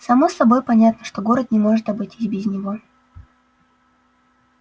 само собой понятно что город не может обойтись без него